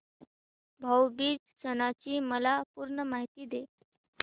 भाऊ बीज सणाची मला पूर्ण माहिती दे